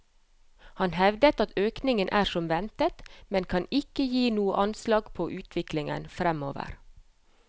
Han hevder at økningen er som ventet, men kan ikke gi noe anslag på utviklingen fremover.